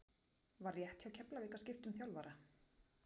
Var rétt hjá Keflavík að skipta um þjálfara?